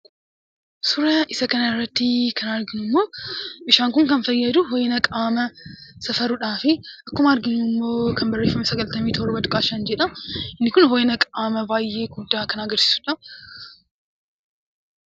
Suuraa isa kana irratti kan arginu immoo meeshaadha. Kun kan fayyadu ho'ina qaamaa safaruudhaaf, akkuma arginu immoo kan barreeffama sagaltamii torba tuqaa shan jedha; inni Kun ho'ina qaamaa baayyee guddaa kan agarsiisudha.